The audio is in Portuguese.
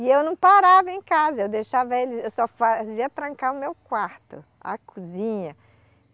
E eu não parava em casa, eu deixava eles, eu só fazia trancar o meu quarto, a cozinha.